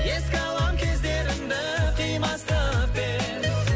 еске алам кездерімді қимастықпен